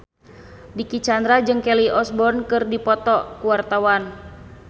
Dicky Chandra jeung Kelly Osbourne keur dipoto ku wartawan